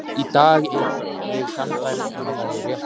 Í dag er ég sannfærð um að það er rétt.